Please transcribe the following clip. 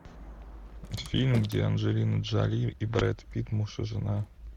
фильм где анджелина джоли и брэд питт муж и жена